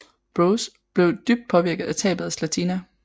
Broz blev dybt påvirket af tabet af Zlatina